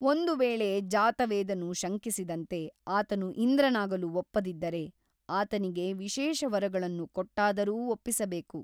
ಒಂದು ವೇಳೆ ಜಾತವೇದನು ಶಂಕಿಸಿದಂತೆ ಆತನು ಇಂದ್ರನಾಗಲು ಒಪ್ಪದಿದ್ದರೆ ಆತನಿಗೆ ವಿಶೇಷ ವರಗಳನ್ನು ಕೊಟ್ಟಾದರೂ ಒಪ್ಪಿಸಬೇಕು.